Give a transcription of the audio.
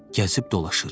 Gəzib dolaşır.